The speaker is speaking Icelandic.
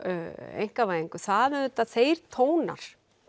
einkavæðingu það eru auðvitað þeir tónar